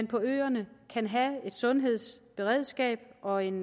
på øerne kan have et sundhedsberedskab og en